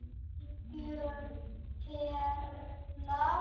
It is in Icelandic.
Algjör perla.